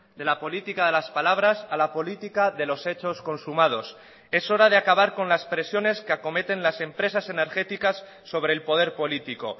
de la política de las palabras a la política de los hechos consumados es hora de acabar con las presiones que acometen las empresas energéticas sobre el poder político